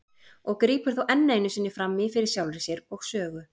og grípur þá enn einu sinni fram í fyrir sjálfri sér og sögu.